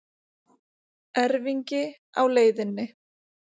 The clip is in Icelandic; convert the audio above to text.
Erfingi á leiðinni